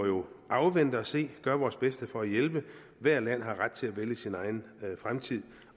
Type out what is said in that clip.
afvente og se og gøre vores bedste for at hjælpe ethvert land har ret til at vælge sin egen fremtid